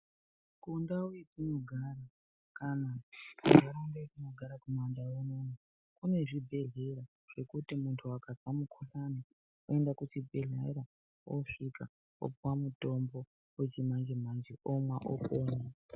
Kundau yatinogara kana kunharaunda yatinogara kumandau unono kune zvibhedhlera zvekuti kana muntu akanzwa mukuhlani, oenda kuchibhedhlera, osvika opiwa mutombo wechimanje-manje omwa opona.